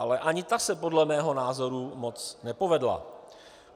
Ale ani ta se podle mého názoru moc nepovedla.